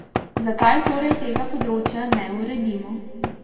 Zakaj torej tega področja ne uredimo?